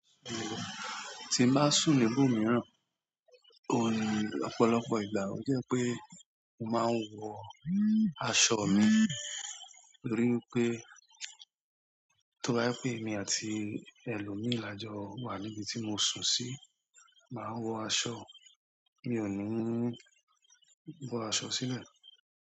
Tí n ba sùn níbò mìíràn, o ní ọ̀pọ̀lọpọ̀ ìgbà ó jẹ́ pé mó máa ń wọ aṣọ mi. Torí wipé to ba jẹ pé èmi àti ẹlòmíràn lajọ wà níbi tí mó sùn sí, máa ń wọ aṣọ. Mi ò ní ń bọ aṣọ sílẹ̀.